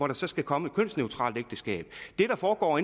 der skal skal komme et kønsneutralt ægteskab det der foregår